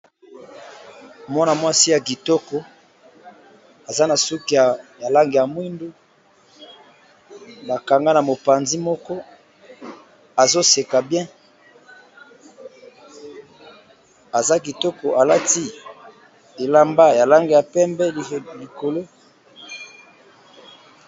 Mpana mwasi ya kitoko aza na suka ya lange ya mwindu nakanga na mopanzi moko azoseka bien aza kitoko alati elamba ya lange ya pembe likolo.